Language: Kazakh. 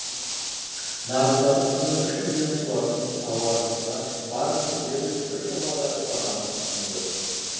нарықтағы құны үш миллион тұратын тауарымызға барлығы дерлік бір жобадағы бағаны ұсынды